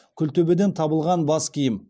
күлтөбеден табылған бас киім